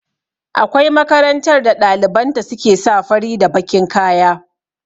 Akwai makarantar da ɗaliban ta su ke sa fari da bakin kaya